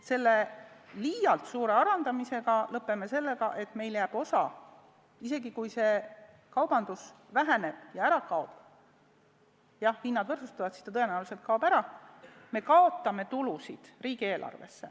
See liialt suur alandamine lõppeb sellega, et isegi kui piirikaubandus väheneb ja ära kaob – kui hinnad võrdsustuvad, siis ta tõenäoliselt ka ära kaob –, aga me kaotame tulusid riigieelarvesse.